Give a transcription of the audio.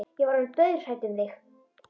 Ég var orðin dauðhrædd um þig,